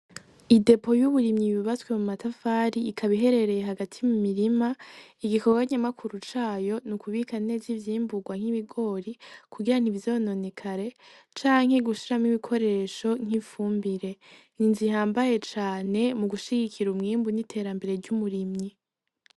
Idepo y'uburimyi yubatswe mu matafari ikaba iherereye hagati mu mirima igikorwa nyamukuru cayo nukubika neza ivyimburwa nk'ibigori kugira ntivyononekare canke gushiramwo ibikoresho nk'ifumbire, ni inzu ihambaye cane mu gushigikira umwimbu n'iterambere ry'umurimyi.